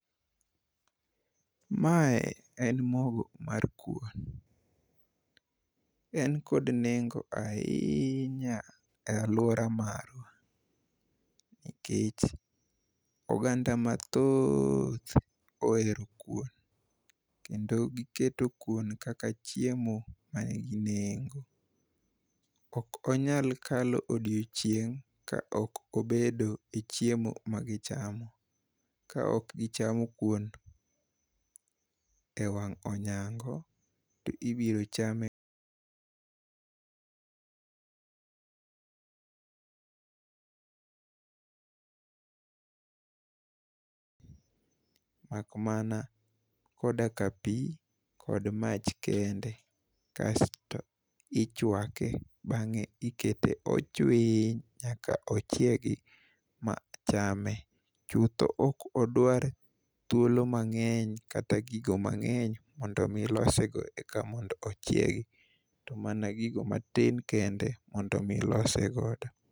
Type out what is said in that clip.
Mae en mogo mar kuon. En kod nengo ahiinya e alwora marwa, nikech oganda mathooth ohero kuon kendo giketo kuon kaka chiemo manigi nengo. Ok onyal kalo odiochieng' ka ok obedo e chiemo magichamo, ka ok gichamo kuon e wang' onyango to ibiro chame makmana koda ka pi kod mach kende, kasto ichwake bang'e ikete ochwiny nyaka ochiegi ma chame. Chutho ok odwar thuolo mang'eny kata gigo mang'eny mondo mi losego eka mondo ochiegi to mana gigo matin kende mondo mi lose godo.